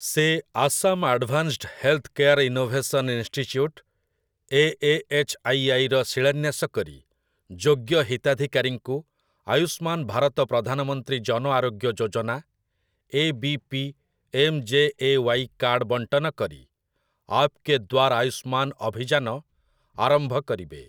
ସେ Assam advanced health care innovation institute, A. A. H. I. I. ର ଶିଳାନ୍ୟାସ କରି ଯୋଗ୍ୟ ହିତାଧିକାରୀଙ୍କୁ ଆୟୁଷ୍ମାନ ଭାରତ ପ୍ରଧାନମନ୍ତ୍ରୀ ଜନ ଆରୋଗ୍ୟ ଯୋଜନା, ଏ.ବି.ପି.ଏମ୍.ଜେ.ଏ.ୱାଇ., କାର୍ଡ ବଣ୍ଟନ କରି 'ଆପ୍‌କେ ଦ୍ୱାର୍ ଆୟୁଷ୍ମାନ୍' ଅଭିଯାନ ଆରମ୍ଭ କରିବେ ।